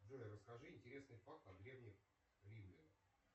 джой расскажи интересный факт о древних римлянах